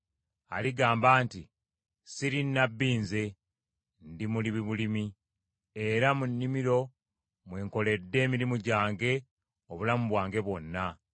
Aligamba nti, ‘Siri nnabbi nze, ndi mulimi bulimi; era mu nnimiro mwe nkoledde emirimu gyange obulamu bwange bwonna.’